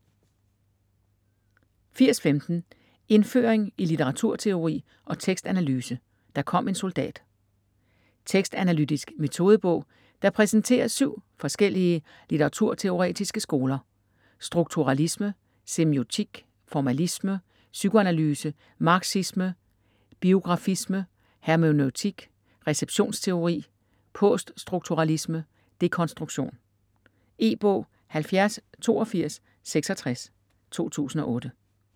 80.15 Indføring i litteraturteori og tekstanalyse: der kom en soldat - Tekstanalytisk metodebog, der præsenterer syv forskellige litteraturteoretiske skoler: strukturalisme / semiotik, formalisme, psykoanalyse, marxisme, biografisme, hermeneutik / receptionsteori, poststrukturalisme / dekonstruktion. E-bog 708266 2008.